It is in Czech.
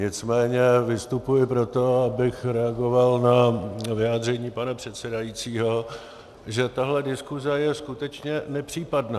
Nicméně vystupuji proto, abych reagoval na vyjádření pana předsedajícího, že tahle diskuze je skutečně nepřípadná.